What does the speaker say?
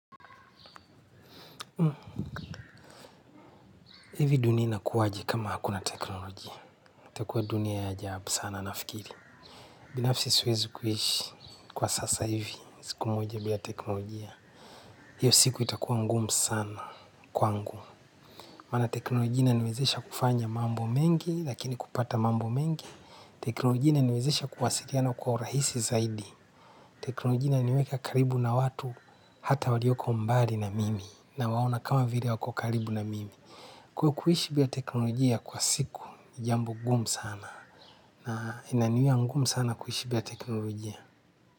Hivi dunia inakuwaje kama hakuna teknolojia. Itakua dunia ya ajabu sana nafikiri. Binafsi siwezi kuishi kwa sasa hivi. Siku moje bila teknolojia. Hiyo siku itakuwa ngumu sana kwangu maana teknolojia inaniwezesha kufanya mambo mengi lakini kupata mambo mengi. Teknolojia inaniwezesha kuwasiliana kwa urahisi zaidi. Teknolojia inaniweka karibu na watu hata walioko mbali na mimi. Nawaona kama vile wako karibu na mimi. Kwa kuishi biya teknolojia kwa siku jambo gumu sana na inaniwia ngumu sana kuishi bila teknolojia.